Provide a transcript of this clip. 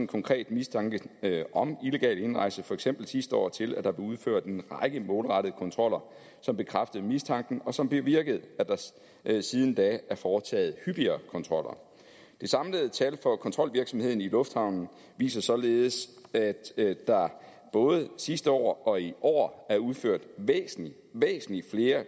konkret mistanke om illegal indrejse for eksempel sidste år til at der blev udført en række målrettede kontroller som bekræftede mistanken og som bevirkede at der siden da er foretaget hyppigere kontroller det samlede tal for kontrolvirksomheden i lufthavnen viser således at der både sidste år og i år er udført væsentlig væsentlig flere